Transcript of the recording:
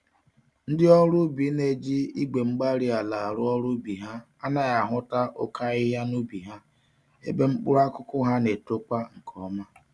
Ndị ọrụ ubi na-eji Igwe-mgbárí-ala arụ ọrụ ubi ha anaghị ahụta oké ahịhịa n'ubi ha, ebe mkpụrụ akụkụ ha N'etokwa nkè ọma